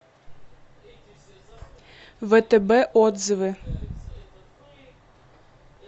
втб отзывы